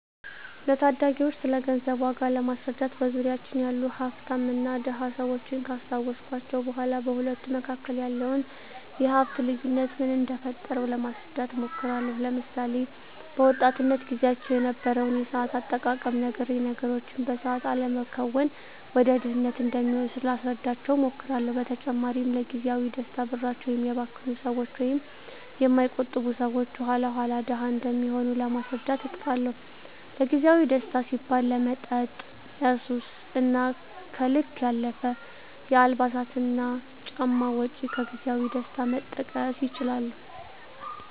ለታዳጊወች ስለገንዘብ ዋጋ ለማስረዳት በዙሪያችን ያሉ ሀፍታምና ድሀ ሰወችን ካስታወስኳቸው በኋ በሁለቱ መካከል ያለውን የሀፍት ልዮነት ምን እደፈጠረው ለማስረዳት እሞክራለሁ። ለምሳሌ፦ በወጣትነት ግዚያቸው የነበረውን የሰአት አጠቃቀም ነግሬ ነገሮችን በሰአት አለመከወን ወደ ድህነት እንደሚወስድ ላስረዳቸው እሞክራለው። በተጨማሪም ለግዚያዊ ደስታ ብራቸውን የሚያባክኑ ሰወች ወይም የማይቆጥቡ ሰወች የኋላ ኋላ ድሀ እንደሚሆኑ ለማስረዳት እጥራለሁ። ለግዜአዊ ደስታ ሲባል ለመጠጥ፣ ለሱስ እና ከልክ ያለፈ የአልባሳትና ጫማ ወጭ ከግዜያዊ ደስታ መጠቀስ ይችላሉ።